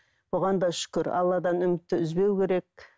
оған да шүкір алладан үмітті үзбеу керек